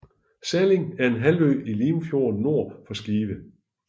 Salling er en halvø i Limfjorden nord for Skive